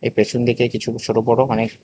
পেছনদিকে কিছু ছোট বড় অনেক--